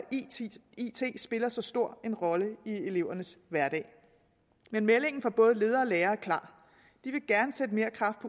it spiller så stor en rolle i elevernes hverdag men meldingen fra både ledere og lærere er klar de vil gerne sætte mere kraft